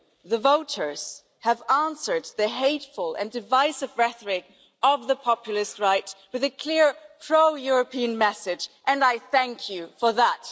the voters, have answered the hateful and divisive rhetoric of the populist right with a clear pro European message, and I thank you for that.